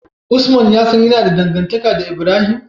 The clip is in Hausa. Usman yasan yAna da dangantaka da Ibrahim?